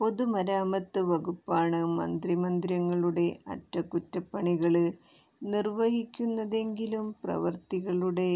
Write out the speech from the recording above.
പൊതുമരാമത്ത് വകുപ്പാണ് മന്ത്രിമന്ദിരങ്ങളുടെ അറ്റകുറ്റപ്പണികള് നിര്വഹിക്കുന്നതെങ്കിലും പ്രവൃത്തികളുടെ